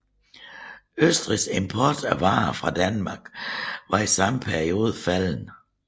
Østrigs import af varer fra Danmark var i samme periode faldende